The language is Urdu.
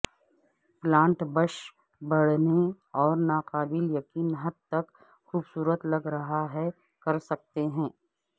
پلانٹ بش بڑھنے اور ناقابل یقین حد تک خوبصورت لگ رہا ہے کر سکتے ہیں